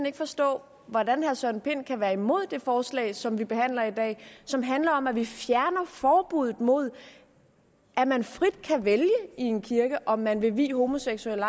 ikke forstå hvordan herre søren pind kan være imod det forslag som vi behandler i dag og som handler om at vi fjerner forbuddet mod at man frit kan vælge i en kirke om man vil vie homoseksuelle